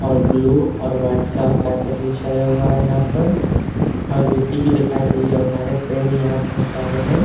और ब्लू और व्हाइट का कार्पेट बिछाया हुआ है यहाँ पर और गिट्टी भी दिखाई दी और हरे पेड़ भी यहाँ बहुत सारे हैं।